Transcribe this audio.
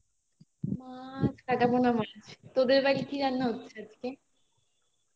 মাছ কাটাপোনা মাছ তোদের বাড়ি কি রান্না হচ্ছে আজকে